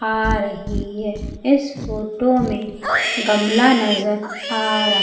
आ रही है इस फोटो में गमला नजर आ र--